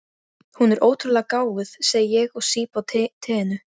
Hún er ótrúlega gáfuð, segi ég og sýp á teinu.